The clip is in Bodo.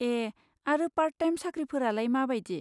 ए, आरो पार्ट टाइम साख्रिफोरालाय मा बायदि?